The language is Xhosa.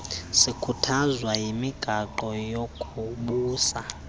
sikhuthazwa yimigaqo yokubusa